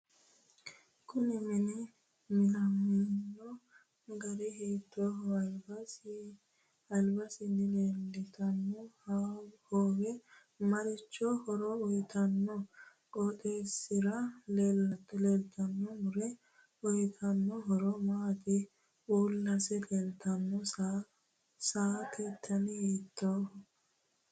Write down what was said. Kuni mini minamino gari hiitooho albasiini leeltanno hoowe marichi horo uyiitanno qoxeesisira leeltano muro uyiitanno horo maati mulesi leeltanno saate dani hiitooho